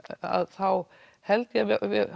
þá held ég að